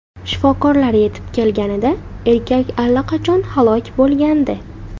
Shifokorlar yetib kelganida erkak allaqachon halok bo‘lgandi.